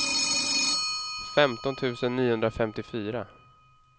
femton tusen niohundrafemtiofyra